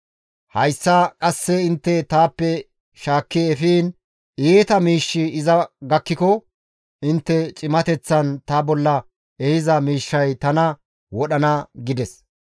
Hayssa qasse intte taappe shaakki efiin iita miishshi iza gakkiko intte cimateththan ta bolla ehiza mishay tana wodhana› » gides.